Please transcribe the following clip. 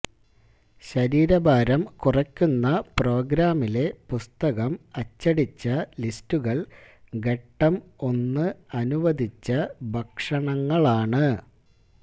ശരീരഭാരം കുറയ്ക്കുന്ന പ്രോഗ്രാമിലെ പുസ്തകം അച്ചടിച്ച ലിസ്റ്റുകൾ ഘട്ടം ഒന്ന് അനുവദിച്ച ഭക്ഷണങ്ങളാണ്